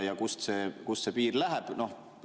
Kust see piir läheb?